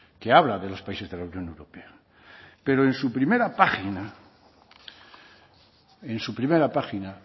que habla de los países de la unión europea pero en su primera página en su primera página